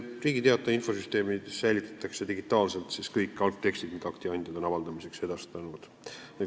Riigi Teataja infosüsteemis säilitatakse digitaalselt kõik algtekstid, mida akti andjad on avaldamiseks edastanud.